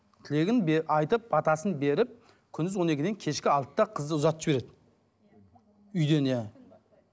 тілегін айтып батасын беріп күндіз он екіден кешкі алтыда қызды ұзатып жібереді үйден иә